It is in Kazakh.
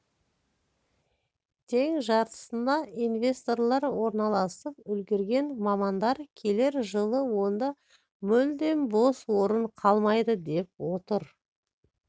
тең жартысына инвесторлар орналасып үлгерген мамандар келер жылы онда мүлдем бос орын қалмайды деп отыр